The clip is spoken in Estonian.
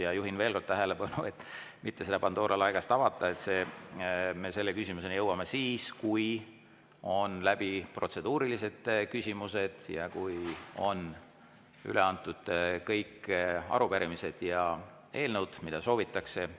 Ja juhin veel kord tähelepanu, et mitte seda Pandora laegast avada, et selle küsimuseni me jõuame siis, kui on läbi protseduurilised küsimused ning kui on üle antud kõik arupärimised ja eelnõud, mida soovitakse.